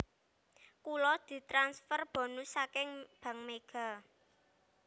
Kulo ditransfer bonus saking Bank Mega